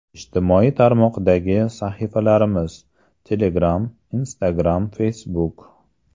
Ijtimoiy tarmoqdagi sahifalarimiz: Telegram Instagram Facebook .